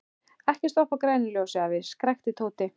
Ekki stoppa á grænu ljósi, afi! skrækti Tóti.